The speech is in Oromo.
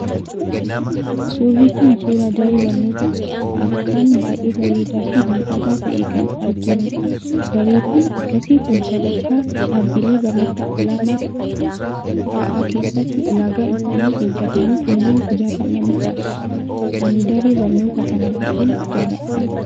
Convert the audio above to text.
Suurri kun, suuraa daree barnootaa akkaan baayyee bareedaa fi miidhagaa ta'ee kan arginudha. Dareewwan akkasii Kun sadarkaa dhaabbilee barnoota olaanoo fa'aa keessatti ulaagaa isaanii eeggatanii kanneen ijaaramanidha. Ani daree barnootaa kana baayyeen jaalladhe.